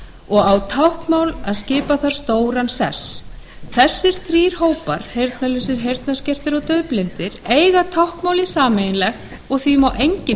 og á táknmál að skipa þar stóran sess þessir þrír hópar heyrnarlausir heyrnarskertir og daufblindir eiga táknmálið sameiginlegt og því má enginn